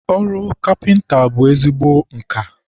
ọrụ kapịnta bụ ezigbo nka.